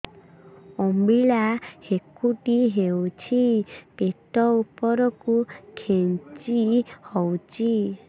ଅମ୍ବିଳା ହେକୁଟୀ ହେଉଛି ପେଟ ଉପରକୁ ଖେଞ୍ଚି ହଉଚି